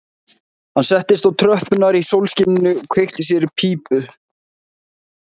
Hann settist á tröppurnar í sólskininu og kveikti sér í pípu